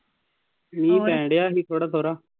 ਮੀਂਹ ਪੈਣਡਿਆਂ ਸੀ ਥੋੜ੍ਹਾ ਥੋੜ੍ਹਾ।